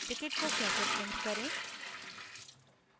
ticket को कैसे print करें